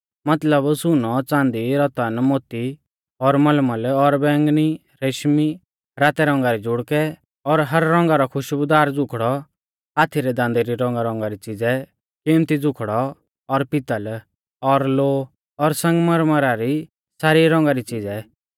मतलब सुनौ च़ांदी रतन मोती और मलमल और बैंगनी रेशमी रातै रौंगा रै जुड़कै और हर रौंगा रौ खुशबुदार ज़ुखड़ौ हाथी रै दांदां री रौंगारौंगा री च़िज़ै किमत्ती ज़ुखड़ौ और पितल़ और लोहौ और संगमरमरा री सारी रौंगा री च़िज़ै